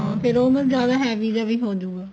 ਹਾਂ ਫੇਰ ਹੁਣ ਜਿਆਦਾ heavy ਜਾ ਵੀ ਹੋਜੂਗਾ